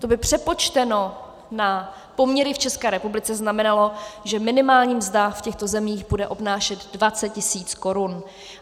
To by přepočteno na poměry v České republice znamenalo, že minimální mzda v těchto zemích bude obnášet 20 tisíc korun.